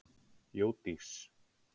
Jódís